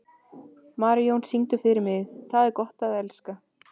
Marijón, syngdu fyrir mig „Tað er gott at elska“.